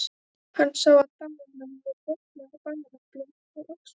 Hann sá að Dalamenn voru vopnaðir bareflum og öxum.